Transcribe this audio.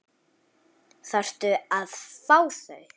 Þarftu að fá þau?